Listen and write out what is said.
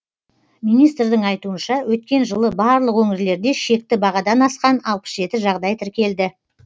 министрдің айтуынша өткен жылы барлық өңірлерде шекті бағадан асқан алпыс жеті жағдай тіркелді